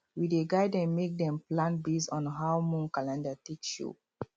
we dey guide dem make dem plant based on how moon calendar take show